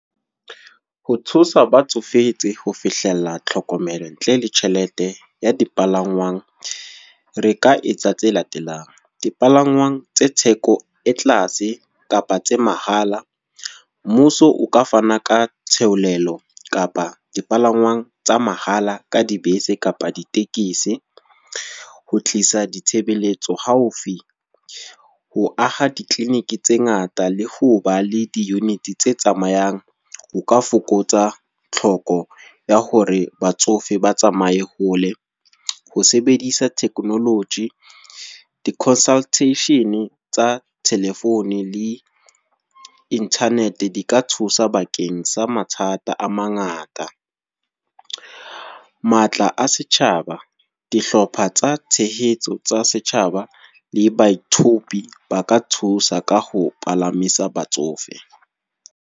Ho thusa ba tsofetse ho fihlella tlhokomelo ntle le tjhelete ya dipalangwang. Re ka etsa tse latelang, dipalangwang tse theko e tlase kapa tsa mahala. Mmuso o ka fana ka theolelo kapa dipalangwang tsa mahala ka dibese kapa ditekese. Ho tlisa ditshebeletso haufi. Ho aha di-clinic tse ngata, le ho ba le di-units tse tsamayang. Ho ka fokotsa tlhokeho ya hore batsofe ba tsamaye hole. Ho sebedisa technology, di-consultation tsa telephone le internet di ka thusa bakeng sa sa mathata a mangata. Matla a setjhaba, dihlopha tsa tshehetso tsa setjhaba le baithaopi ba ka thusa ka ho palamisa batsofe.